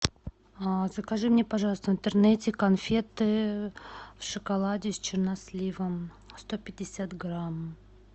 закажи мне пожалуйста в интернете конфеты в шоколаде с черносливом сто пятьдесят грамм